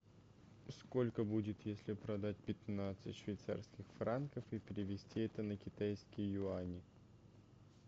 сколько будет если продать пятнадцать швейцарских франков и перевести это на китайские юани